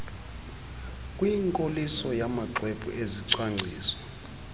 kwinkoliso yamaxwebhu ezicwangciso